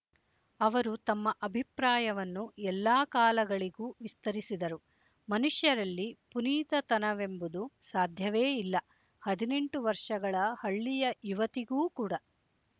ಅವರು ತಮ್ಮ ಅಭಿಪ್ರಾಯವನ್ನು ಎಲ್ಲಾ ಕಾಲಗಳಿಗೂ ವಿಸ್ತರಿಸಿದರು ಮನುಷ್ಯರಲ್ಲಿ ಪುನೀತತನವೆಂಬುದು ಸಾಧ್ಯವೇ ಇಲ್ಲ ಹದಿನೆಂಟು ವರ್ಷಗಳ ಹಳ್ಳಿಯ ಯುವತಿಗೂ ಕೂಡ